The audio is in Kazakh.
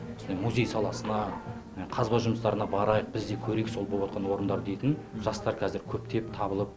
осындай музей саласына қазба жұмыстарына барайық біз де көрейік сол болыватқан орындарды дейтін жастар қазір көптеп табылып